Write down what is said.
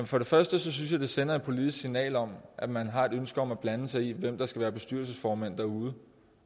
for det første synes jeg det sender et politisk signal om at man har et ønske om at blande sig i hvem der skal være bestyrelsesformænd derude